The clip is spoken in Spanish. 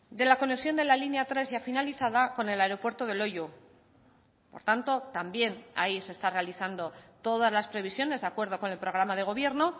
de la conexión de la línea tres ya finalizada con el aeropuerto de loiu por tanto también ahí se está realizando todas las previsiones de acuerdo con el programa de gobierno